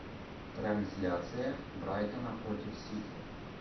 трансляция брайтона против сити